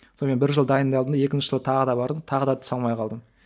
сонымен бір жыл дайындалдым да екінші жыл тағы да бардым тағы да түсе алмай қалдым